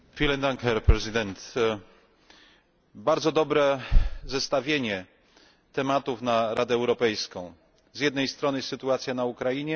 Bardzo dobre zestawienie tematów na Radę Europejską zjednej strony sytuacja na Ukrainie, z drugiej strony energia i klimat.